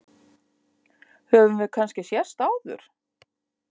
Höfum við kannski sést áður?